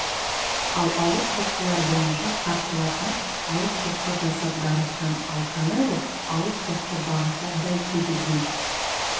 ал ауыр соққылар бойынша қарсыласына ауыр соққы жасап дарытқан ал канело ауыр соққы бағыттап дәл тигізген